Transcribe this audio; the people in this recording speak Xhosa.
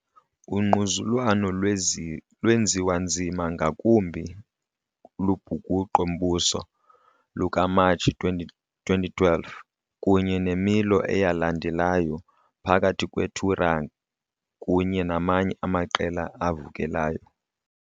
Ungquzulwano lwenziwa nzima ngakumbi lubhukuqo-mbuso lukaMatshi 2012 kunye nemilo eyalandelayo phakathi kweTuareg kunye namanye amaqela avukelayo.